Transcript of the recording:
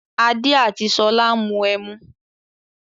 Adé àti Ṣolá ń mu ẹmu.